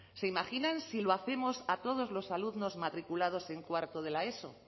se imaginan si lo hacemos a todos los alumnos matriculados en cuarto de la eso